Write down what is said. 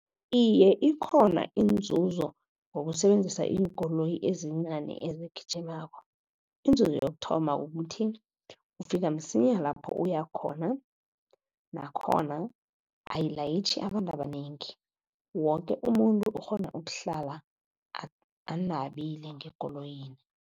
Iye, ikhona inzuzo ngokusebenzisa iinkoloyi ezincani ezigijimako. Inzuzo yokuthoma ukuthi ufika msinya lapho uya khona, nakhona ayilayitjhi abantu abanengi, woke umuntu ukghona ukuhlala anabile ngekoloyini.